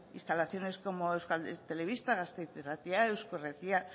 instalaciones como euskal telebista gasteiz irratia eusko irratia